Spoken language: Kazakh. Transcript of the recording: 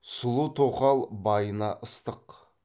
сұлу тоқал байына ыстық